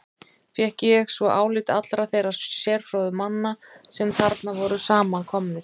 Fékk ég svo álit allra þeirra sérfróðu manna, sem þarna voru samankomnir.